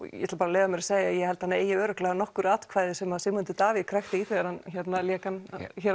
ég ætla að leyfa mér að segja ég held að hann eigi örugglega nokkur atkvæði sem Sigmundur Davíð krækti í þegar hann lék hann